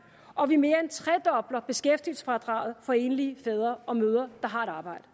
og vi mere end tredobler beskæftigelsesfradraget for enlige fædre og mødre der har et arbejde